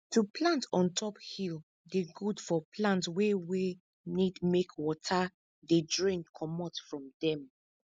to plant on top hill dey good for plant wey wey need make water dey drain comot from dem